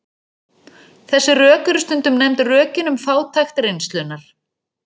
Þessi rök eru stundum nefnd rökin um fátækt reynslunnar.